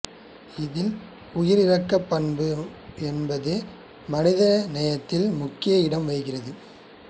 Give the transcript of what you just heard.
இதில் உயிரிரக்கப் பண்பு என்பது மனித நேயத்தில் முக்கிய இடம் வகிக்கிறது